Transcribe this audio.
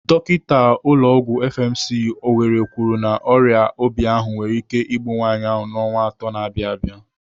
Dọkinta ụlọ ọgwụ FMC, Owerri kwuru na ọrịa obi ahụ nwere ike igbu nwaanyị a n'ọnwa atọ na-abịa abịa.